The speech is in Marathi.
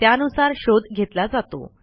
त्यानुसार शोध घेतला जातो